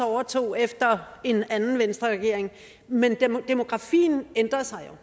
overtog efter en anden venstreregering men demografien ændrer sig